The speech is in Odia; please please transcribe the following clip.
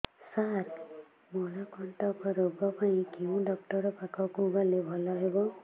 ସାର ମଳକଣ୍ଟକ ରୋଗ ପାଇଁ କେଉଁ ଡକ୍ଟର ପାଖକୁ ଗଲେ ଭଲ ହେବ